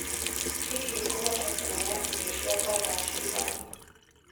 hĩhĩ nguhota kũoyaĩrĩo cĩakwa thaa cĩĩgana